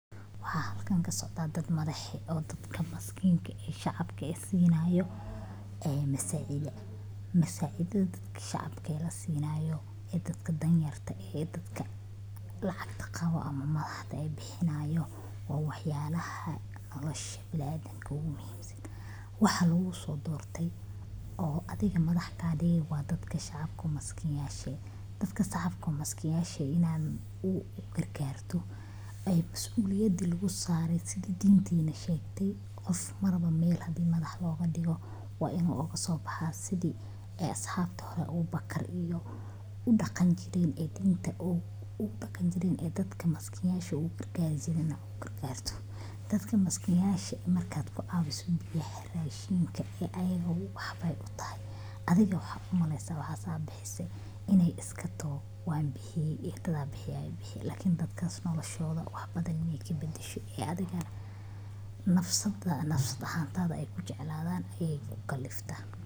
Waxaa halkan kasocda dadka madaxda oo dadka maskinka sinayo masacidha, Dadka madaxda ah ee bulshada hoggaamiya waxay leeyihiin kaalmo muhiim ah oo ku saabsan horumarinta bulshada iyo ka jawaabidda baahiyaha dadka danyarta ah. Marka madaxdu ay caawiyaan masaakiinta — iyaga oo siinaya cunto, biyo, dhar ama gargaarka kale ee nololeed waxay muujiyaan naxariis, hogaamin wanaagsan, iyo dareen islaamnimo. Sidoo kale, marka ay masjidyada wax ku tabarucaan sida dhismaha, dayactirka, ama bixinta adeegyada masaajidka, waxay xoojinayaan midnimada bulshada iyo kor u qaadidda diinta. Tallaabooyinka noocaas ah waxay dhiirrigeliyaan dadka kale in ay is caawiyaan, waxayna sare u qaadaan kalsoonida shacabka ku qabaan madaxda. Isla markaana.